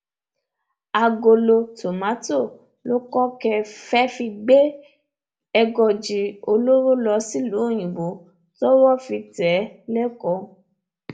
àgolo tomato lokoke fee fi gbé ègòòji olóró lọ sílùú òyìnbó tọwọ fi tẹ ẹ lẹkọọ